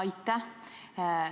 Aitäh!